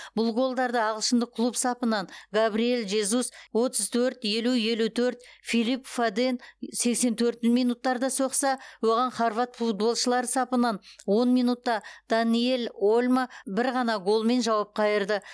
бұл голдарды ағылшындық клуб сапынан габриэл жезус отыз төрт елу елу төрт филип фоден сексен төрт минуттарда соқса оған хорват футболшылары сапынан он минутта даниэль ольмо бір ғана голмен жауап қайырды